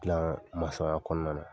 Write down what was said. Dilaan ya kɔɔna na